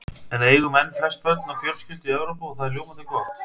En við eigum enn flest börn á fjölskyldu í Evrópu og það er ljómandi gott.